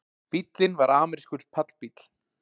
Bíllinn var amerískur pallbíll